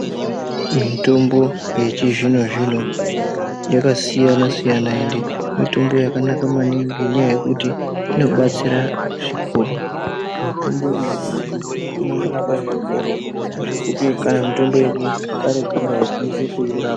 Mitombo yechizvino zvino yakasiyana siyana maningi ende inoita kuti inobatsira zvikuru inondorapa zvirwere zvekuti chero mitombo yekare kare aikwanisi kurapa.